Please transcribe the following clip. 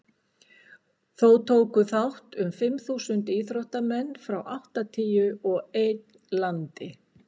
þó tóku þátt um fimm þúsund íþróttamenn frá áttatíu og einn landi